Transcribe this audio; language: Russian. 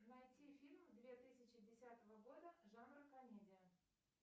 найти фильмы две тысячи десятого года жанра комедия